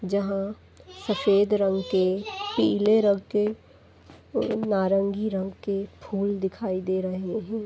जहां सफेद रंग के पीले रंग के और नारंगी रंग के फूल दिखाई दे रहे हैं।